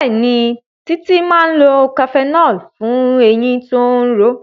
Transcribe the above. Béèni Titi má lọ cafenol fún ẹyìn tó ń ró.